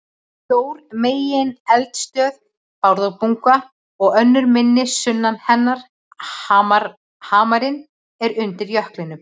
Stór megineldstöð, Bárðarbunga, og önnur minni sunnan hennar, Hamarinn, eru undir jöklinum.